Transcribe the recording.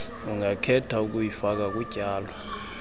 ungakhetha ukuyifaka kutyalo